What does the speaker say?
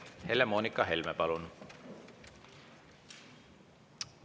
Helle-Moonika Helme, palun!